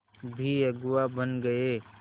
भी अगुवा बन गए